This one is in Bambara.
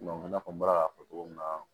i n'a fɔ n bɔra k'a fɔ cogo min na